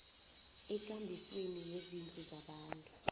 ekambisweni yezindlu zabantu